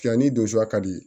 Fiyanni don su ka di